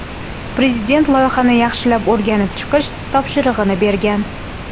Prezident loyihani yaxshilab o‘rganib chiqish topshirig‘ini bergan.